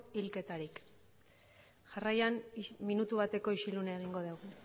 hilketarik jarraian minutu bateko isilunea egingo degu